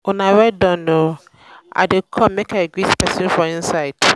una well done oo i dey come make i greet person for inside